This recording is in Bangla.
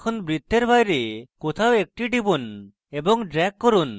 এখন বৃত্তের বাইরে কোথাও একটি টিপুন এবং drag করুন